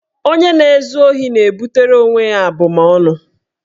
Onye na-ezu ohi na-ebutere onwe ya abụmaọnụ.